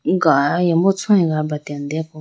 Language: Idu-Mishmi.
galimbo choyi ga abratene deya po.